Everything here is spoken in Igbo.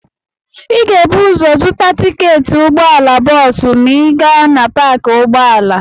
Ị ga-ebu ụzọ zụta tiketi ụgbọala bọọsụ ma ị gaa na paakị ụgbọala.